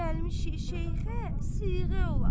Gəlmişik şeyxə siğə olaq.